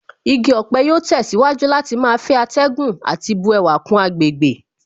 Igi ọ̀pẹ yóò tẹ̀síwájú láti máa fẹ́ atẹ́gùn àti bu ẹwà kún àgbègbè